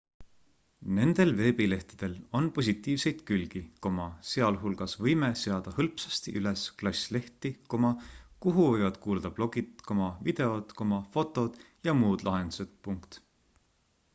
nendel veebilehtedel on positiivseid külgi sealhulgas võime seada hõlpsasti üles klass leht kuhu võivad kuuluda blogid videod fotod ja muud lahendused